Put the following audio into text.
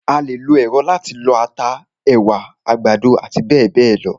A lè lo èrọ láti lọ ata, ẹ̀wà, àgbàdo àti bẹ́ẹ̀bẹ́ẹ̀ lọ.